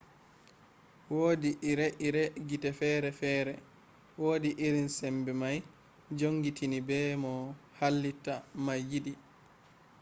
wodi ire-ire gite fere-fere wodi irin sembe mai jongitini be no halitta mai yidi